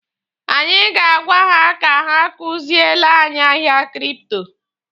Anyị ga-agwa ha ka ha kuziele anyị ahịa kripto.